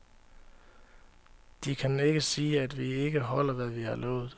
De kan ikke sige, at vi ikke holder, hvad vi har lovet.